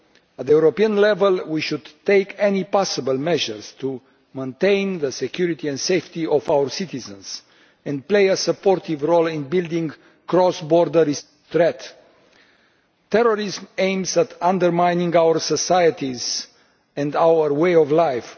At European level we should take all possible measures to maintain the security and safety of our citizens and play a supportive role in building a cross border response to this threat. Terrorism aims at undermining our societies and our way of life.